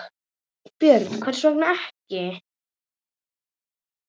Björn: Hvers vegna ekki?